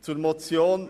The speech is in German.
Zur Motion